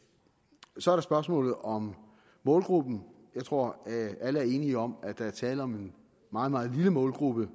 så er der spørgsmålet om målgruppen jeg tror at alle er enige om at der er tale om en meget meget lille målgruppe